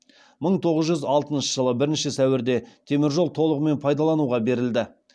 мың тоғыз жүз алтыншы жылғы бірінші сәуірде теміржол толығымен пайдалануға берілді